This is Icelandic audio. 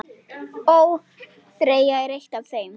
ÓÞREYJA er eitt af þeim.